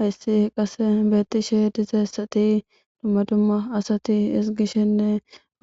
hayssi qase beettishe dizeessati dumma dumma asati isgishenne